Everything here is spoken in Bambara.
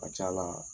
Ka ca ala